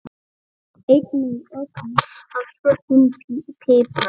Einnig ögn af svörtum pipar.